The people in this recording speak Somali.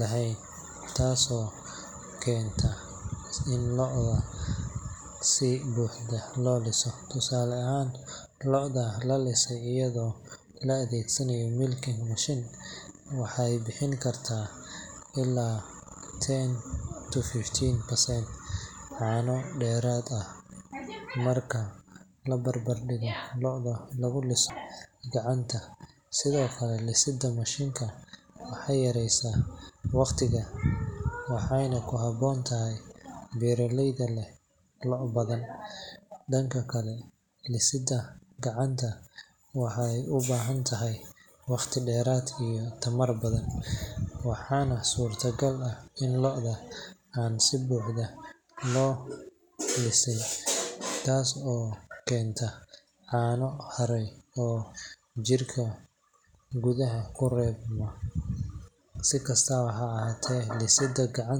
lahayn, taas oo keenta in lo’da si buuxda loo liso. Tusaale ahaan, lo’da la lisay iyadoo la adeegsanayo milking machine waxay bixin kartaa ilaa ten to fifteen percent caano dheeraad ah marka la barbardhigo lo’da lagu liso gacanta. Sidoo kale, lisidda mashiinka waxay yaraysaa waqtiga, waxayna ku habboon tahay beeraleyda leh lo’ badan. Dhanka kale, lisidda gacanta waxay u baahan tahay waqti dheer iyo tamar badan, waxaana suurtagal ah in lo’da aan si buuxda loo lixin, taas oo keenta caano haray oo jirka gudaha ku reebma. Si kastaba ha ahaatee, lisidda gacanta.